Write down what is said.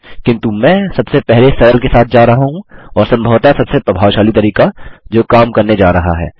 किन्तु मैं सबसे सरल के साथ जा रहा हूँ और सम्भवतः सबसे प्रभावशाली तरीका जो काम करने जा रहा है